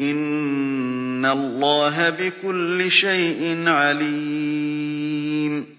إِنَّ اللَّهَ بِكُلِّ شَيْءٍ عَلِيمٌ